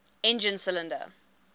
engine cylinder